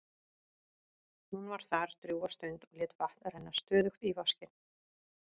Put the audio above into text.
Hún var þar drjúga stund og lét vatn renna stöðugt í vaskinn.